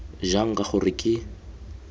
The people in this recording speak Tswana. jang k g r ke